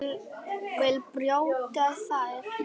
Vill brjóta þær.